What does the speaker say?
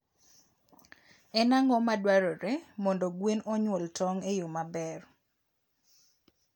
En ang'o ma dwarore mondo gwen onyuol tong' e yo maber?